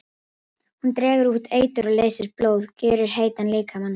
Hún dregur út eitur og leysir blóð, gjörir heitan líkama.